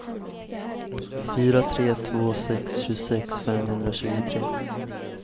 fyra tre två sex tjugosex femhundratjugotre